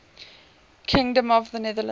kingdom of the netherlands